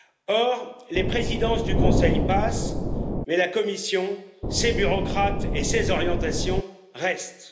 Or, les présidences du Conseil passent mais la Commission, ses bureaucrates et ses orientations restent.